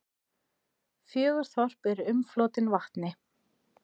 Fjögur þorp eru umflotin vatni.